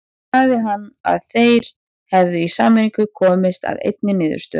Sagði hann að þeir hefðu í sameiningu komist að einni niðurstöðu.